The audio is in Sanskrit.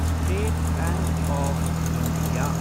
state bank of India